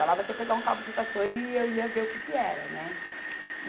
Falava que ia pegar um cabo de vassoura e eu ia ver o que que era, né?